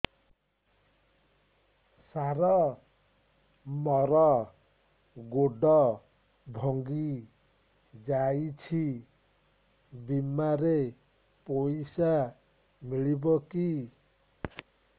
ସାର ମର ଗୋଡ ଭଙ୍ଗି ଯାଇ ଛି ବିମାରେ ପଇସା ମିଳିବ କି